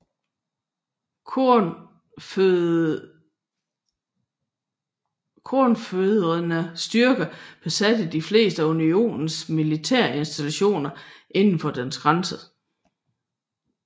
Konfødererede styrker besatte de fleste af Unionens militærinstallationer indenfor dens grænser